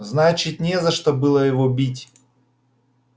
значит не за что было его бить